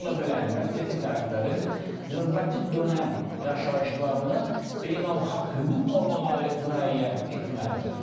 Bununla belə, əlbəttə ki, tərəflərin növbəti dönəm yaşayışını beynəlxalq hüquq normaları müəyyən etməlidir.